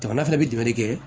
Jamana fɛnɛ bi jumɛn de kɛ